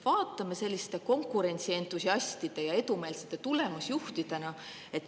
Vaatame seda konkurentsientusiastide ja edumeelsete tulemusjuhtidena.